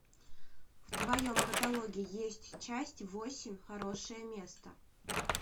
в твоем каталоге есть часть восемь хорошее место